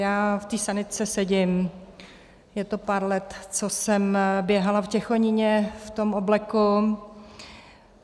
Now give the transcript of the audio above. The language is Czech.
Já v tý sanitce sedím, je to pár let, co jsem běhala v Těchoníně v tom obleku.